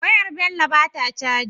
Wayar Bello bata caji